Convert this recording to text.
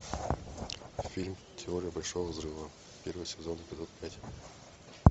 фильм теория большого взрыва первый сезон эпизод пять